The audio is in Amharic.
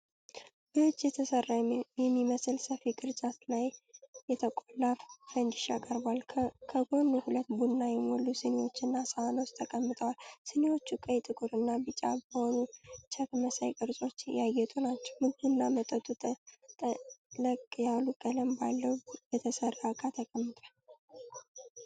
በእጅ የተሰራ በሚመስል ሰፊ ቅርጫት ላይ የተቆላ ፈንድሻ ቀርቧል። ከጎኑ ሁለት ቡና የሞሉ ስኒዎችና ሳህኖቻቸው ተቀምጠዋል። ስኒዎቹ ቀይ፣ ጥቁር እና ቢጫ በሆኑ ቼክ መሳይ ቅርጾች ያጌጡ ናቸው። ምግቡና መጠጡ ጠለቅ ያለ ቀለም ባለው በተሰራ እቃ ተቀምጧል።